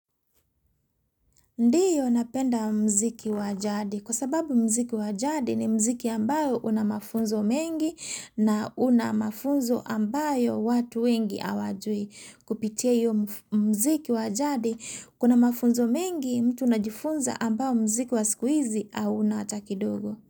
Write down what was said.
Ndiyo napenda mziki wajadi kwa sababu mziki wajadi ni mziki ambao unamafunzo mengi na unamafunzo ambayo watu wengi hawajui. Kupitia hiyo mziki wajadi kuna mafunzo mengi mtu unajifunza ambao mziki wa siku hizi hauna hatakidogo.